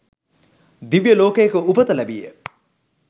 දිව්‍යලෝකයක උපත ලැබීය.